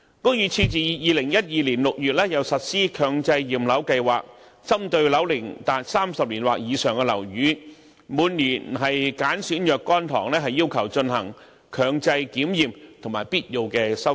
屋宇署自2012年6月又實施強制驗樓計劃，針對樓齡達30年或以上的樓宇，每年揀選若干幢要求進行強制檢驗和必要的修葺。